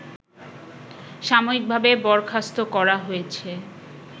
সাময়িকভাবে বরখাস্ত করা হয়েছে